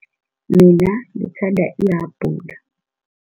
Mina ngithanda ihabhula.